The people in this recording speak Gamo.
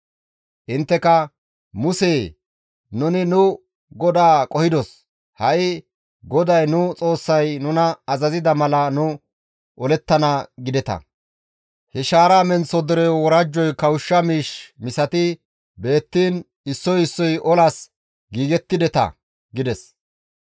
«Intteka, ‹Musee! Nuni nu GODAA qohidos; ha7i GODAY nu Xoossay nuna azazida mala nu olettana› gideta; he shaara menththo dereyo worajjoy kawushsha miish misati beettiin issoy issoy olas giigettideta» gides.